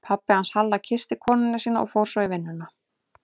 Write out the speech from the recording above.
Pabbi hans Halla kyssti konuna sína og fór svo í vinnuna.